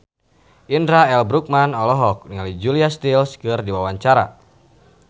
Indra L. Bruggman olohok ningali Julia Stiles keur diwawancara